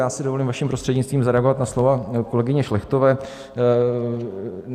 Já si dovolím vaším prostřednictvím zareagovat na slova kolegyně Šlechtové.